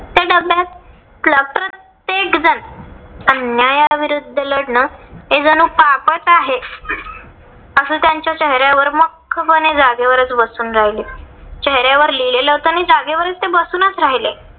अन्याया विरुद्ध लढण हे जणू पापच आहे. अस त्यांच्या चेहऱ्यावर मख्खपणे जागेवरच बसून राहिले. चेहऱ्यावर लिहिलेलं होत आणि जागेवर ते बसूनच राहिले.